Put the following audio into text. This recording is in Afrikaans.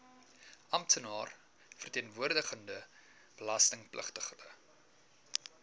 amptenaar verteenwoordigende belastingpligtige